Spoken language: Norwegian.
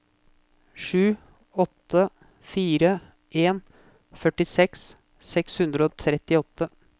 sju åtte fire en førtiseks seks hundre og trettiåtte